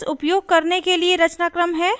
else उपयोग करने के लिए रचनाक्रम है: